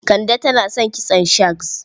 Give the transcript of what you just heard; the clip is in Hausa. Kande tana son kitson shags?